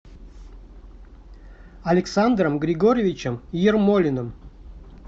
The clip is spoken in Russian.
александром григорьевичем ермолиным